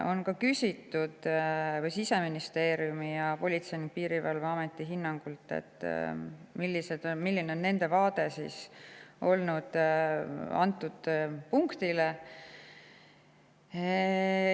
On ka küsitud Politsei- ja Piirivalveameti ja Siseministeeriumi hinnangut, milline on nende vaade antud punktile.